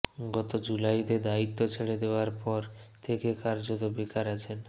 গত জুলাইতে দায়িত্ব ছেড়ে দেওয়ার পড় থেকে কার্যত বেকার আছেন